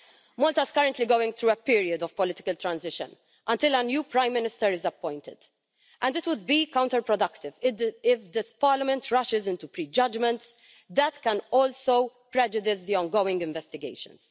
Malta is currently going through a period of political transition until a new Prime Minister is appointed, and it would be counterproductive if this Parliament rushes into prejudgments that can also prejudice the ongoing investigations.